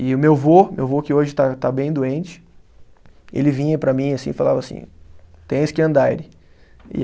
E o meu vô, meu vô que hoje está está bem doente, ele vinha para mim assim e falava assim, tens que andaire